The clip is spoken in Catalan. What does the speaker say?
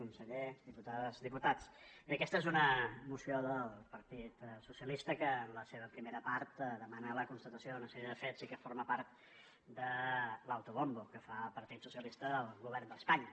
conseller diputades diputats bé aquesta és una moció del partit socialistes que en la seva primera part demana la constatació d’una sèrie de fets i que forma part de l’autobombo que fa el partit socialistes del govern d’espanya